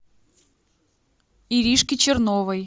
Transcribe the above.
иришке черновой